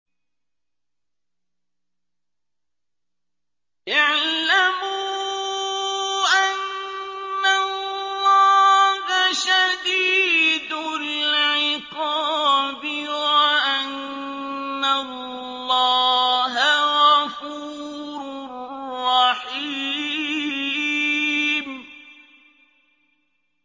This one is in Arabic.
اعْلَمُوا أَنَّ اللَّهَ شَدِيدُ الْعِقَابِ وَأَنَّ اللَّهَ غَفُورٌ رَّحِيمٌ